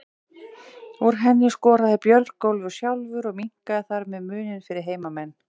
Úr henni skoraði Björgólfur sjálfur og minnkaði þar með muninn fyrir heimamenn.